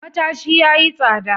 Matashi yayi tsada.